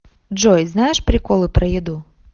джой знаешь приколы про еду